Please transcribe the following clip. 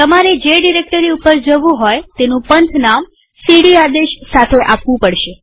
તમારે જે ડિરેક્ટરી ઉપર જવું હોય તેનું પંથનામ સીડી આદેશ સાથે આપવું પડશે